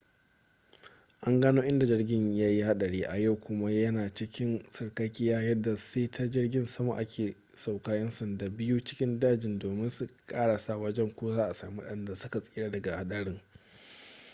an gano inda jirgin yayi hadari a yau kuma ya na cikin sarkakiya yadda sai ta jirgin sama aka sauke yan sanda biyu cikin dajin domin su karasa wajen ko za'a sami wadanda su ka tsira daga hadarin